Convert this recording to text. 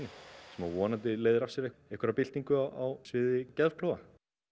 vonandi leiðir af sér einhverja byltingu á sviði geðklofa